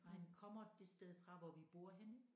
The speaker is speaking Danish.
For han kommer det sted fra hvor vi bor henne